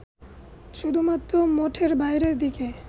শুধুমাত্র মঠের বাইরের দিকে